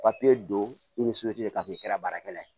papiye don i ni k'a to i kɛra baarakɛla ye